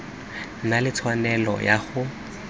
na le tshwanelo ya go